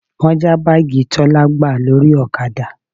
Wọ́n já báàgì Tọ́lá gbà lórí ọ̀kadà